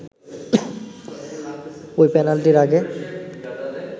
ওই পেনাল্টির আগে